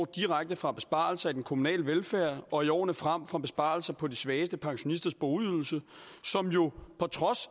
direkte fra besparelser i den kommunale velfærd og i årene frem fra besparelser på de svageste pensionisters boligydelse